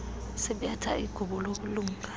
sibetha igubu lobulunga